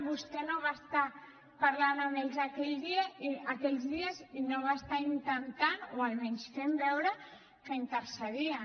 vostè no va estar parlant amb ells aquells dies i no va estar intentant o almenys fent ho veure que intercedia